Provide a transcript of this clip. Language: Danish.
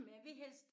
Men jeg vil helst